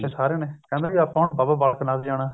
ਪਿੱਛ ਸਾਰਿਆਂ ਨੇ ਕਹਿੰਦੇ ਵੀ ਆਪਾਂ ਬਾਬਾ ਬਾਲਕ ਨਾਥ ਜਾਣਾ